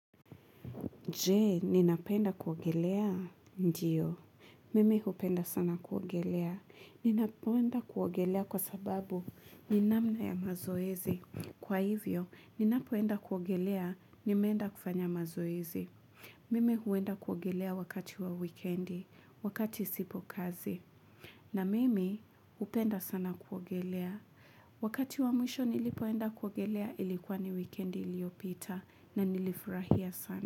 Je, ninapenda kuogelea? Ndiyo. Mimi upenda sana kuogelea. Ninapenda kuogelea kwa sababu ni namna ya mazoezi. Kwa hivyo, ninapenda kuogelea nimeenda kufanya mazoezi. Mimi huenda kuogelea wakati wa weekendi, wakati sipo kazi. Na mimi upenda sana kuogelea. Wakati wa mwisho nilipoenda kuogelea ilikuwa ni weekendi iliopita na nilifurahia sana.